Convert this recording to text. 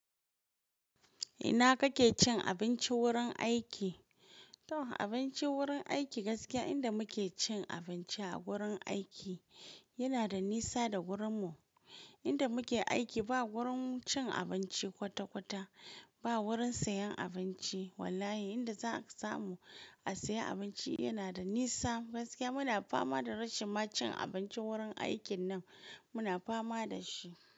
Ina kake cin abinci wurin aiki? To abinci wurin aiki gaskiya inda muke cin abinci a wurin aiki yana da nisa da wurinmu. Inda muke aiki ba wurin cin abinci kwata-kwata, ba wurin sayen abinci. Wallahi inda za ka samu a saya abinci yana da nisa. Gaskiya muna fama da rashin ma cin abinci wurin aikin nan muna fama da shi.